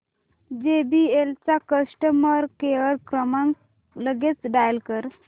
JBL चा customer care क्रमांक लगेच डायल कर